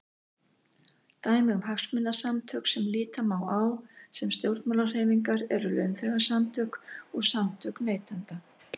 Dæmi um hagsmunasamtök sem líta má á sem stjórnmálahreyfingar eru launþegasamtök og samtök neytenda.